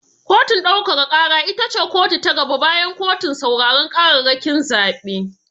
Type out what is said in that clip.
Kotun ɗaukaka ƙara ita ce kotu ta gaba bayan kotun sauraren ƙararrakin zaɓe.